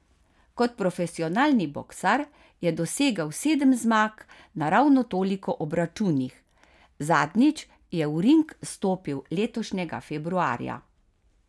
Kot profesionalni boksar je dosegel sedem zmag na ravno toliko obračunih, zadnjič je v ring stopil letošnjega februarja.